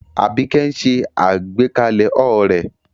Abike ń ṣe àgbékalẹ̀ haur rẹ̀